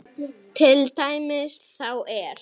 Til dæmis þá er